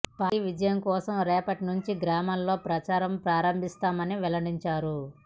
party విజయం కోసం రేపటి నుంచి గ్రామాల్లో ప్రచారం ప్రారంభిస్తామని వెల్లడించారు